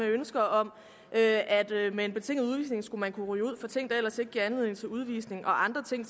af ønsker om at med en betinget udvisning skulle man kunne ryge ud for ting der ellers ikke giver anledning til udvisning og andre ting